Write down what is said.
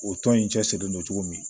O tɔn in cɛsirilen don cogo min